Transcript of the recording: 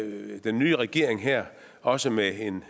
den nye regering her også med en